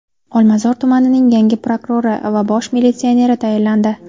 Olmazor tumanining yangi prokurori va bosh militsioneri tayinlandi.